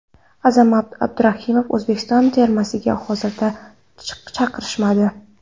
Azamat Abduraimov: O‘zbekiston termasiga hozircha chaqirishmadi.